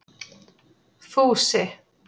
Fúsi